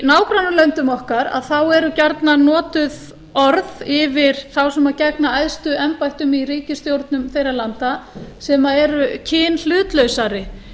í nágrannalöndum okkar eru gjarnan notuð orð yfir þá sem gegna æðstu embættum í ríkisstjórnum þeirra landa sem eru kynhlutlausari